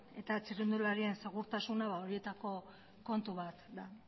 eta txirrindularien segurtasuna horietako kontu bat da